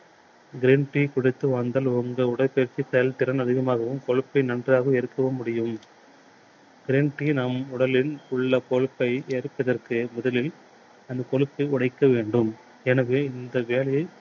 green tea குடித்து வாழ்ந்தால் உங்கள் உடல் பயிற்சி செயல் திறன் அதிகமாகவும் கொழுப்பை நன்றாக எரிக்கவும் முடியும். green tea நம் உடலில் உள்ள கொழுப்பை எரிப்பதற்கு முதலில் அந்த கொழுப்பை உடைக்க வேண்டும். எனவே இந்த வேலையை